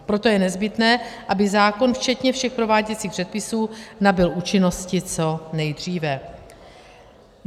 Proto je nezbytné, aby zákon včetně všech prováděcích předpisů nabyl účinnosti co nejdříve.